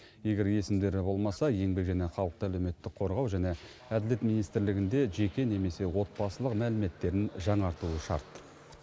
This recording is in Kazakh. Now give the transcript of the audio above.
егер есімдері болмаса еңбек және халықты әлеуметтік қорғау және әділет министрлігінде жеке немесе отбасылық мәліметтерін жаңартуы шарт